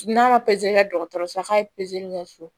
N'a ma kɛ dɔgɔtɔrɔso la k'a ye kɛ so